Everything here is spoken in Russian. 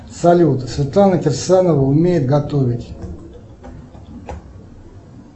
салют светлана кирсанова умеет готовить